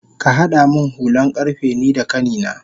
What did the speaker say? Kahada min hulan karfe nida kanina